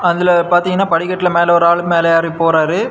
அதுல பாத்தீங்கன்னா படிக்கட்டுல மேல ஒரு ஆளு மேல ஏறி போறாரு.